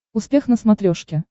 успех на смотрешке